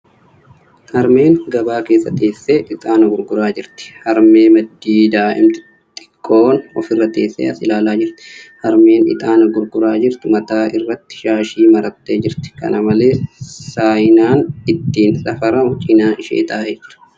Harmeen gabaa keessa teessee ixaana gurguraa jirti. Harmee maddii daa'imti xiqqoon ofirra teessee as ilaalaa jirti. Harmeen ixaana gurguraa jirtu mataa irratti shaashii marattee jirti. Kana malees, saayinaan ittiin safaramu cinaa ishee taa'ee jira.